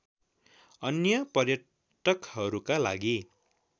अन्य पर्यटकहरूका लागि